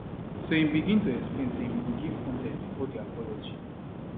so im begin to explain say im go give context bifor di apology